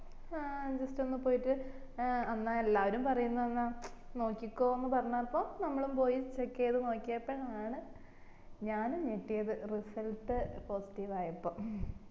ആ just ഒന്ന് പോയിട്ട് ഏർ എന്ന എല്ലാരും പറയിന്ന് എന്ന ച് നോക്കിക്കൊന്ന പറഞ്ഞപ്പോ നമ്മളും പോയി check ചെയ്ത് നോക്കിയപ്പോഴാണ് ഞാനും ഞെട്ടിയത് result possitive ആയപ്പോം